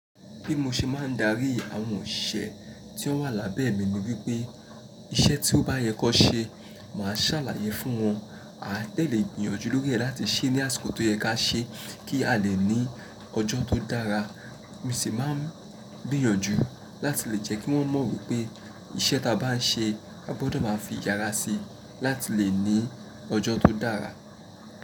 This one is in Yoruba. Bí mo ṣe máa ń darí àwọn òṣìṣẹ́ tí ó wà lábẹ́ mi ni wípé iṣẹ́ tí ó bá yẹ kó ṣe, màá ṣàlàyé fún wọn. A tẹ̀lé gbìnyànjú lórí ẹ̀ láti ṣe ní àsìkò tó yẹ kí a ṣe kí a lè ní ọjọ́ tó dára. Mo sì máa ń gbìyànjú láti lè jẹ́ kí wọ́n mọ̀ wípé Iṣẹ́ tá bá ń ṣe, a gbọdọ̀ máa fi ìyára sí láti lè ní ọjọ́ tó dára.